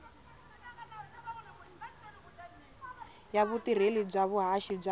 ya vutirheli bya vuhaxi bya